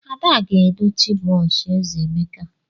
Ada ga-edochi brọsh eze Emeka.